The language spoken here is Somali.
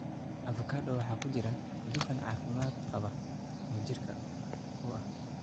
Avocado waxaa ku jira dufan caafimaad qaba oo jirka u ah.